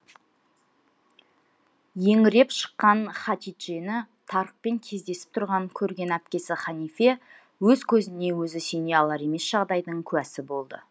еңіреп шыққан хатиджені тарыкқпен кездесіп тұрғанын көрген әпкесі ханифе өз көзіне өзі сене алар емес жағдайдың куәсі болады